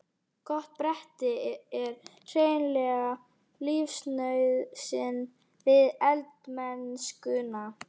Gott bretti er hreinlega lífsnauðsyn við eldamennskuna.